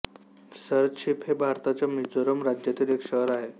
सरछिप हे भारताच्या मिझोरम राज्यातील एक शहर आहे